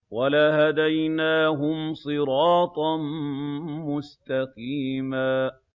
وَلَهَدَيْنَاهُمْ صِرَاطًا مُّسْتَقِيمًا